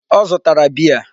Ọ zụtara beer.